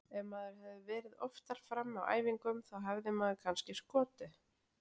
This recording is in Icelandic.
Ef maður hefði verið oftar frammi á æfingum þá hefði maður kannski skotið.